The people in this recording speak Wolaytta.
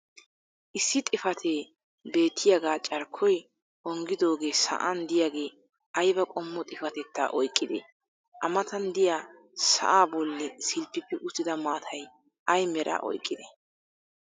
issi xifatee beettiyaagaa carkkoy onggidoogee sa"an diyaagee ayba qommo xifatetta oyqqidee? a matan diya sa"aa boli silppippi uttida maatay ay meraa oyqqidee?